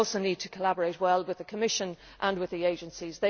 I also need to collaborate well with the Commission and with the agencies.